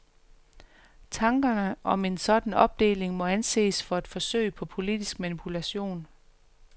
Tankerne om en sådan opdeling må anses for et forsøg på politisk manipulation.